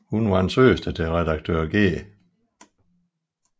Hun var søster til redaktør G